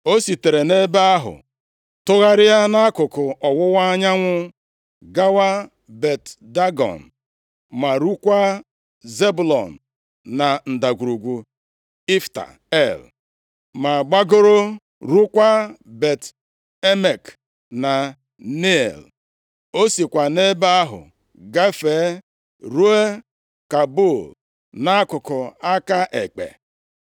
O sitere nʼebe ahụ tụgharịa nʼakụkụ ọwụwa anyanwụ gawa Bet-Dagọn, ma ruokwa Zebụlọn na Ndagwurugwu Ifta El, ma gbagoro ruokwa Bet-Emek na Neiel. O sikwa nʼebe ahụ gafee, ruo Kabul, nʼakụkụ aka ekpe.